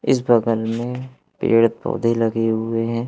इस भगन में पेड़ पौधे लगे हुए हैं।